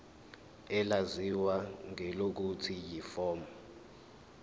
elaziwa ngelokuthi yiform